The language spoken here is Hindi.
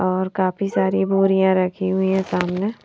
और काफी सारी भूरियां रखी हुई है सामने--